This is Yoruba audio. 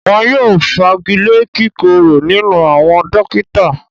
Wọn yóò fagilé kíkúrò nílùú àwọn “dókítà”.